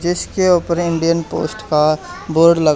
जिसके ऊपर Indian post का बोर्ड लगा--